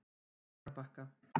Laugarbakka